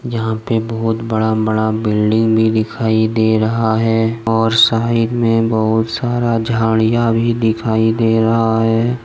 यहां पे बहुत बड़ा बड़ा बिल्डिंग भी दिखाई दे रहा है और साइड में बहुत सारा झाड़ियां भी दिखाई दे रहा है।